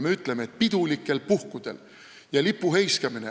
Lipu heiskamine on pidulik sündmus.